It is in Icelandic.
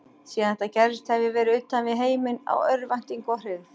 Síðan þetta gerðist hef ég verið utan við heiminn af örvæntingu og hryggð.